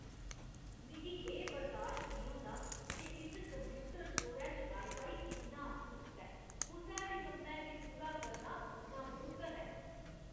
मिगी एह् बर्दाश्त निं होंदा जे इस कंप्यूटर स्टोरै च वाई फाई इन्ना सुस्त ऐ। कुसै बी कम्मै गी पूरा करना नामुमकन ऐ।